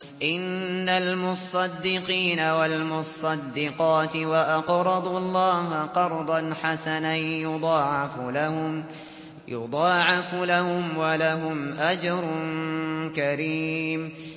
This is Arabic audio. إِنَّ الْمُصَّدِّقِينَ وَالْمُصَّدِّقَاتِ وَأَقْرَضُوا اللَّهَ قَرْضًا حَسَنًا يُضَاعَفُ لَهُمْ وَلَهُمْ أَجْرٌ كَرِيمٌ